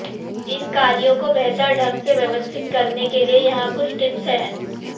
इन कार्यों को बेहतर ढंग से व्यवस्थित करने के लिए यहाँ कुछ टिप्स हैं